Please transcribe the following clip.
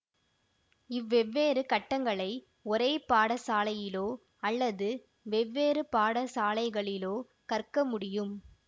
இவ்வெவ்வேறு கட்டங்களை ஒரே பாடசாலையிலோ அல்லது வெவ்வேறு பாடசாலைகளிலோ கற்க முடியும்